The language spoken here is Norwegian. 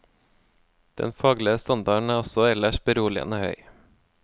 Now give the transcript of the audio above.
Den faglige standarden er også ellers beroligende høy.